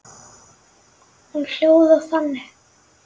Hún hljóðar þannig: